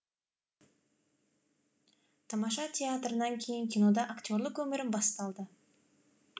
тамаша театрынан кейін кинода актерлік өмірім басталды